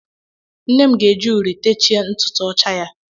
Nnem ga-eji uri techie ntutu ọcha ya.